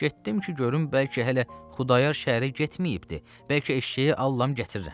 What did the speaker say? Getdim ki, görüm bəlkə hələ Xudayar şəhərə getməyibdir, bəlkə eşşəyi allam gətirirəm.